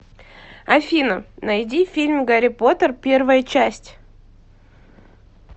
афина найди фильм гари потер первая часть